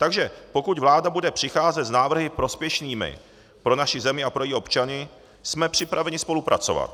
Takže pokud vláda bude přicházet s návrhy prospěšnými pro naši zemi a pro její občany, jsme připraveni spolupracovat.